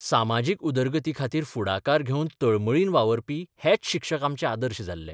सामाजीक उदरगतीखातीर फुडाकार घेवन तळमळीन वावुरपी हेच शिक्षक आमचे आदर्श जाल्ले.